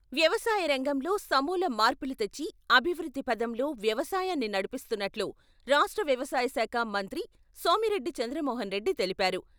వ్యవసాయ రంగంలో సమూల మార్పులు తెచ్చి, అభివృద్ధి పథంలో వ్యవసాయాన్ని నడిపిస్తున్నట్లు రాష్ట్ర వ్యవసాయ శాఖ మంత్రి సోమిరెడ్డి చంద్రమోహన్రెడ్డి తెలిపారు.